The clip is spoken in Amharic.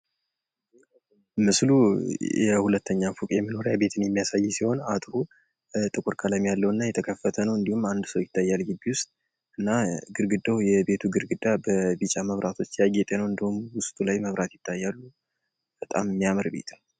ምስሉ የሁለተኛ ፎቅ የመኖሪያ ቤትን የሚያሳይ ሲሆን፣ አጥሩ ጥቁር ቀለም ያለውና የተከፈተ ነው። እንዲሁም አንድ ሰው ይታያል ግቢ ውስጥ። እና ግርግዳው የቤቱ ግድግዳ በቢጫ መብራቶች ያጌጠ ነው። እንዲሁም ውስጥ ላይ መብራት ይታያል። በጣም የሚያምር ቤት ነው።